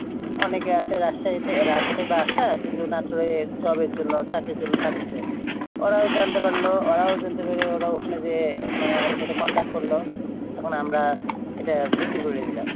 অনেকে আছে আসছে বাসায় Job-র জন্য চাকরির জন্য খুঁজছে ওরাও জানতে পারল আমরাও জানতে পারলাম ওরা ওখানে যেয়ে মানে আমাদের সঙ্গে Contact করল তখন আমরা এটা বিক্রি করে দিলাম